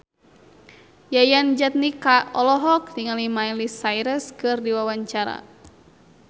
Yayan Jatnika olohok ningali Miley Cyrus keur diwawancara